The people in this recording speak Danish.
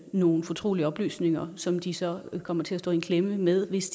nogle fortrolige oplysninger som de så kommer til at stå i en klemme med hvis